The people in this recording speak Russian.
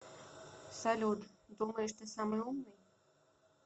салют думаешь ты самый умный